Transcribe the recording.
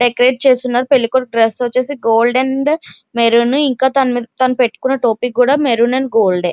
పెళ్లి కొడుకు డ్రెస్ వచేసి గోల్డ్ అండ్ మర్రోన్ ఇక తను పెట్టుకొన టోపీ కొద మర్రోన్ అండ్ గోల్డ్ --